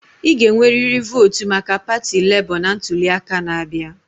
Ị ga-enwerịrị votu maka pati Lebo na ntuli aka na-abịa.